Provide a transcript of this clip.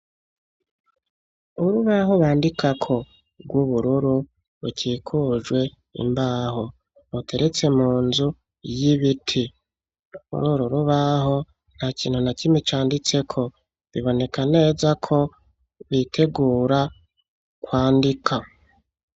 Urubaho bandikako rw'ubururu rukikujwe imbaho ruteretse mu nzu y'ibiti, kuri uru rubaho nta kintu na kimwe canditseko biboneka neza ko bitegura kwandika.